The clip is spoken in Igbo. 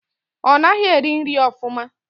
Ọ naghị eri nri ofụma.